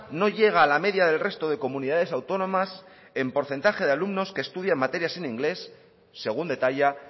no llega a la media del resto de comunidades autónomas en porcentaje de alumnos que estudian materias en inglés según detalla